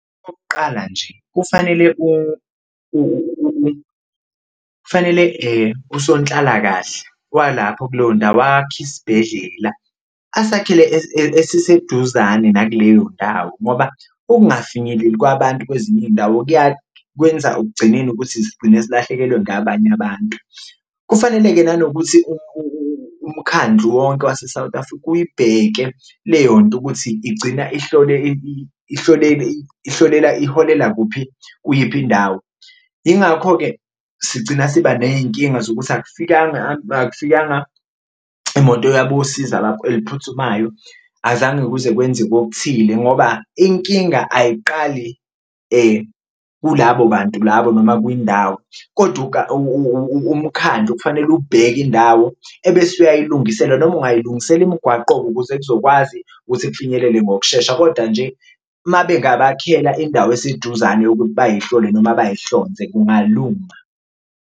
Okokqala nje kufanele kufanele usonhlalakahle walapho kuleyo ndawo akhe isibhedlela, asakhele esiseduzane nakuleyo ndawo, ngoba ukungafinyeleli kwabantu kwezinye iy'ndawo kwenza ekugcineni ukuthi sigcine silahlekelwe ngabanye abantu. Kufanele-ke nanokuthi umkhandlu wonke wase-South Africa uyibheke leyo nto ukuthi igcina ihlolela iholela kuphi, kuyiphi indawo, ingakho-ke sigcina siba ney'nkinga zokuthi akufikanga akufikanga imoto yabosiza eliphuthumayo azange kuze kwenzeke okuthile ngoba inkinga ayiqali kulabo bantu labo noma kwindawo. Kodwa umkhandlu okufanele ubheke indawo ebese uyayilungisela noma ungayilungisela imigwaqo ukuze kuzokwazi ukuthi kufinyelele ngokushesha, koda nje uma bengabakhela indawo eseduzane bayihlole noma bayihlonze kungalunga.